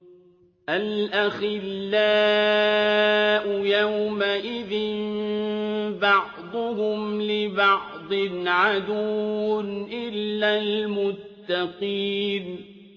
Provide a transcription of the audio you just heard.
الْأَخِلَّاءُ يَوْمَئِذٍ بَعْضُهُمْ لِبَعْضٍ عَدُوٌّ إِلَّا الْمُتَّقِينَ